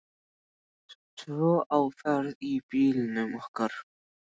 Tvö á ferð í bílnum okkar.